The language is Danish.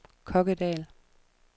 Kokkedal